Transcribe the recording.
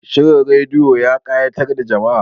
Shirin rediyo ya kayatar da jama'a